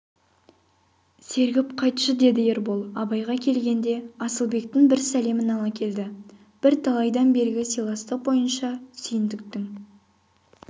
сергіп қайтшы деді ербол абайға келгенде асылбектің бір сәлемін ала келді бірталайдан бергі сыйластық бойынша сүйіндіктің